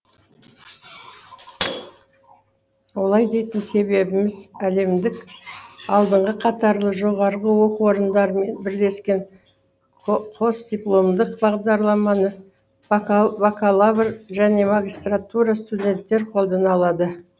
олай дейтін себебіміз әлемдік алдыңғы қатарлы жоғарғы оқу орындарымен бірлескен қосдипломдық бағдарламаны бакалавр және магистратура студенттері қолдана алады